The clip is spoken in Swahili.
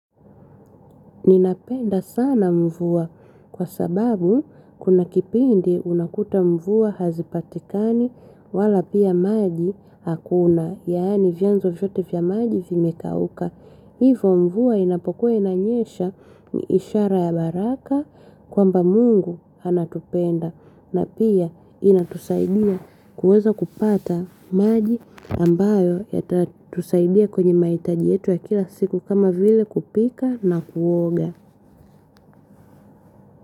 Ninapenda sana mvua kwa sababu kuna kipindi unakuta mvua hazipatikani wala pia maji hakuna. Yaani vyanzo vyote vya maji vimekauka. Hivo mvua inapokuwa inanyesha ni ishara ya baraka kwamba mungu anatupenda. Na pia inatusaidia kuweza kupata maji ambayo yatatusaidia kwenye mahitaji yetu ya kila siku kama vile kupika na kuoga.